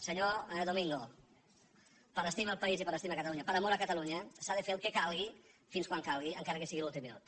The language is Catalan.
senyor domingo per estimar al país i per estimar a catalunya per amor a catalunya s’ha de fer el que calgui fins quan calgui encara que sigui a l’últim minut